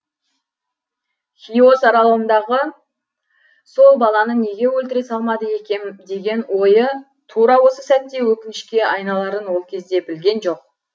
хиос аралындағы сол баланы неге өлтіре салмады екем деген ойы тура осы сәтте өкінішке айналарын ол кезде білген жоқ